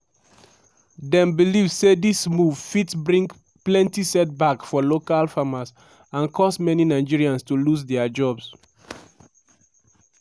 dem believe say dis move fit bring plenty setback for local farmers and cause many nigerians to lose dia jobs.